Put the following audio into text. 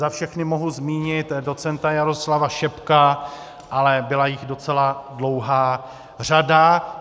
Za všechny mohu zmínit docenta Jaroslava Šebka, ale byla jich docela dlouhá řada.